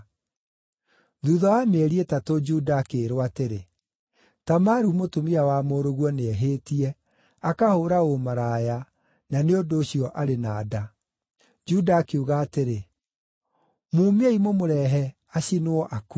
Thuutha wa mĩeri ĩtatũ, Juda akĩĩrwo atĩrĩ, “Tamaru mũtumia wa mũrũguo nĩehĩtie, akahũũra ũmaraya, na nĩ ũndũ ũcio arĩ na nda.” Juda akiuga atĩrĩ, “Mumiei mũmũrehe, acinwo akue!”